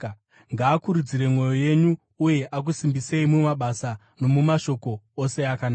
ngaakurudzire mwoyo yenyu uye akusimbisei mumabasa nomumashoko ose akanaka.